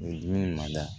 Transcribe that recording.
Nin dumuni ma da